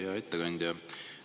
Hea ettekandja!